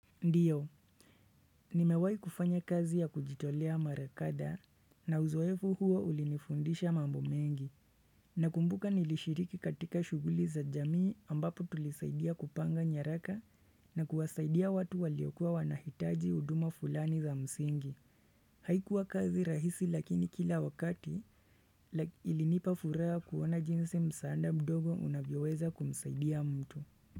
Ndio, nimewahi kufanya kazi ya kujitolea mara kadha, na uzoefu huo ulinifundisha mambo mengi. Nakumbuka nilishiriki katika shughuli za jamii ambapo tulisaidia kupanga nyaraka na kuwasaidia watu waliokuwa wanahitaji huduma fulani za msingi. Haikuwa kazi rahisi lakini kila wakati ilinipa furaha kuona jinsi msaada mdogo unavyoweza kumsaidia mtu.